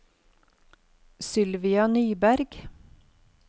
Sylvia Nyberg